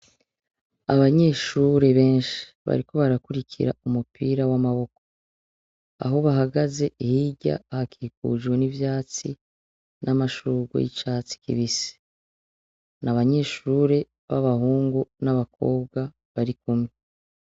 Abanyeshure benshi bariko barakurira umupira w'amaboko. Aho bahagaze hirya hakikujwe n'ivyatsi n'amashurwe y'icatsi kibisi. N’abanyeshure b'abahungu n'abakobwa bari kumwe.